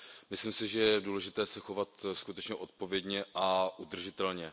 Myslím si, že je důležité se chovat skutečně odpovědně a udržitelně.